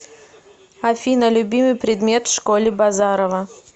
афина любимый предмет в школе базарова